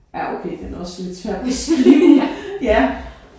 Ja okay den er også lidt svær at beskrive ja